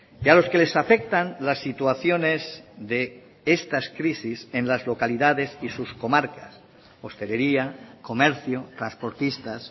y a los que les afectan las situaciones de estas crisis en las localidades y sus comarcas hostelería comercio transportistas